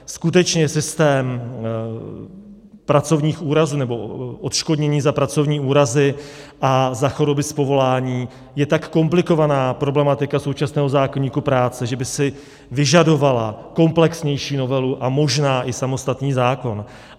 Skutečně systém pracovních úrazů nebo odškodnění za pracovní úrazy a za choroby z povolání je tak komplikovaná problematika současného zákoníku práce, že by si vyžadovala komplexnější novelu a možná i samostatný zákon.